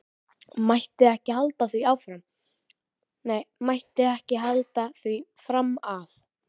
Mætti ekki halda því fram að.